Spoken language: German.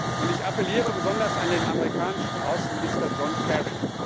Und ich appelliere besonders an den amerikanischen Außenminister John Kerry.